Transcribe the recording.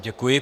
Děkuji.